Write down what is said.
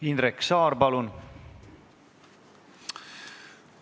Indrek Saar, palun!